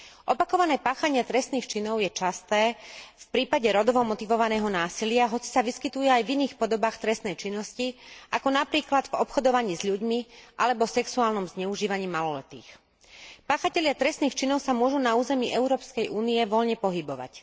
Opakované páchanie trestných činov je časté v prípade rodovo motivovaného násilia, hoci sa vyskytuje aj v iných podobách trestnej činnosti, ako napríklad v obchodovaní s ľuďmi alebo sexuálnom zneužívaní maloletých. Páchatelia trestných činov sa môžu na území Európskej únie voľne pohybovať.